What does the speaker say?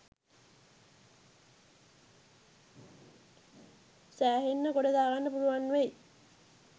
සෑහෙන්න ගොඩදාගන්න පුළුවන් වෙයි.